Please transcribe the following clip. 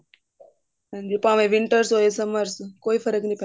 ਭਾਵੇਂ winter ਹੋਵੇ summers ਕੋਈ ਫਰਕ ਨੀ ਪੈਂਦਾ